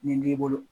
Nin b'i bolo